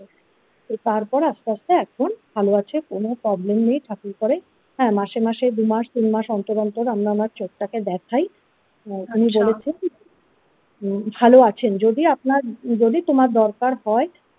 তো তারপর আস্তে আস্তে এখন ভালো আছে কোন ফরেন problem নেই ঠাকুর করে হ্যাঁ মাসে মাসে দু মাস তিন মাস অন্তর অন্তর আমরা ওনার চোখটাকে দেখাই আচ্ছা উনি বলেছেন ভাল আছেন যদি আপনার যদি তোমার দরকার হয়।